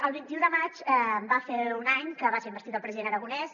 el vint un de maig va fer un any que va ser investit el president aragonès